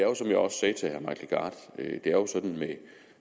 er jo sådan med